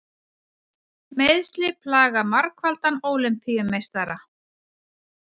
Meiðsli plaga margfaldan Ólympíumeistara